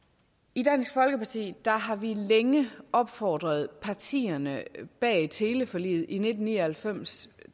i dansk folkeparti har vi længe opfordret partierne bag teleforliget i nitten ni og halvfems